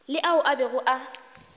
le ao a bego a